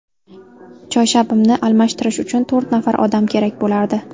Choyshabimni almashtirish uchun to‘rt nafar odam kerak bo‘lardi.